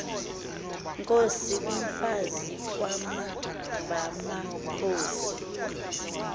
inkos umfazi kwamanvamakhosi